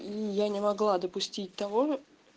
и я не могла допустить того